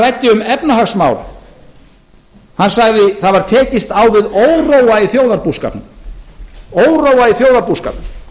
ræddi um efnahagsmál hann sagði það var tekist á við óróa í þjóðarbúskapnum